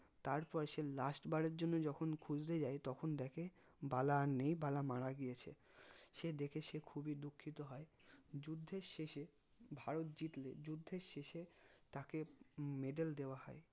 তারপর সে last বারের জন্য যখন খুঁজতে যাই তখন দেখে বালা আর নেই বালা মারা গিয়েছে সে দেখে সে খুবি দুঃখিত হয় যুদ্ধের শেষে ভারত জিতলে যুদ্ধের শেষে তাকে medal দেওয়া হয়